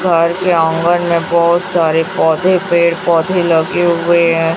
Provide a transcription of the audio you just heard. घर के आंगन में बहोत सारे पौधे पेड़ पौधे लगे हुए हैं।